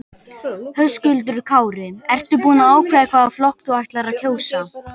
Höskuldur Kári: Ertu búin að ákveða hvaða flokk þú ætlar að kjósa?